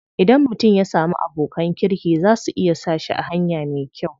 Idan mutum ya samu abokan kirki za su iya sa shi a hanya me kyau.